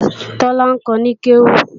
Tọ́lá ń kọ ní kéwú